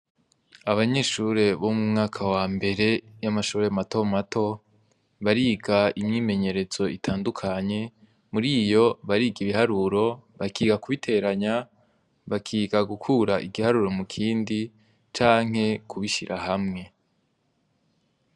Abanyeshure bo mu mwaka wambere yamashure mato mato bariga imyimenyerezo itandukanye muriyo bariga ibiharuro bakiga kubiteranya bakiga gukura igiharuro mu kindi canke kubishira hamwe.